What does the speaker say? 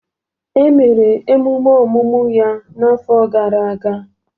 E meru emume ọmụmụ ya n'afọ gara aga.